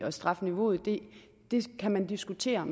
og strafniveauet det kan man diskutere